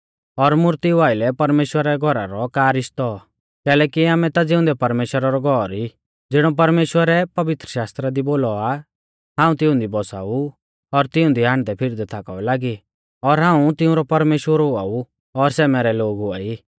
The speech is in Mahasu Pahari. और मुर्तिऊ आइलै परमेश्‍वरा रै घौरा रौ का रिश्तौ कैलैकि आमै ता ज़िउंदै परमेश्‍वरा रौ घौर ई ज़िणौ परमेश्‍वरै पवित्रशास्त्रा दी बोलौ आ हाऊं तिऊंदी बौसाऊ और तिऊंदी हांडदैफिरदै थाकाऊ लागी और हाऊं तिऊंरौ परमेश्‍वर हुआ ऊ और सै मैरै लोग हुआई